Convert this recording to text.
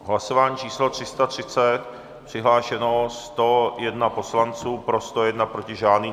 Hlasování číslo 330, přihlášeno 101 poslanců, pro 101, proti žádný.